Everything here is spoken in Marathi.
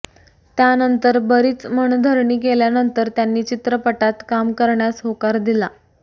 त्यानंतर बरीच मनधरणी केल्यानंतर त्यांनी चित्रपटात काम करण्यास होकार दिला